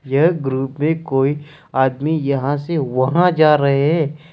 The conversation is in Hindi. यह ग्रुप में कोई आदमी यहां से वहां जा रहे है।